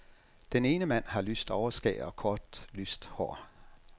Den ene mand har lyst overskæg og kort, lyst hår.